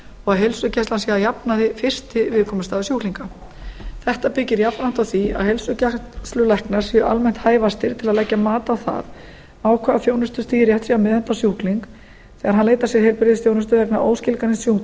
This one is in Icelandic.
og að heilsugæslan sé að jafnaði fyrsti viðkomustaður sjúklinga þetta byggir jafnframt á því að heilsugæslulæknar séu almennt hæfastir til að leggja mat á það á hvaða þjónustustigi rétt sé að meðhöndla sjúkling þegar hann leitar sér heilbrigðisþjónustu vegna óskilgreinds sjúkdóms